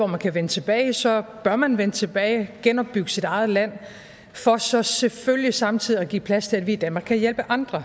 man kan vende tilbage så bør man vende tilbage genopbygge sit eget land for så selvfølgelig samtidig at give plads til at vi i danmark kan hjælpe andre